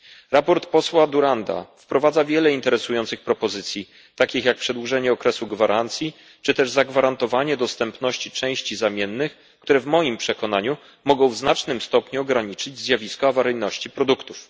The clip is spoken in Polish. Sprawozdanie posła Duranta wprowadza wiele interesujących propozycji takich jak przedłużenie okresu gwarancji czy też zagwarantowanie dostępności części zamiennych, które w moim przekonaniu mogą w znacznym stopniu ograniczyć zjawisko awaryjności produktów.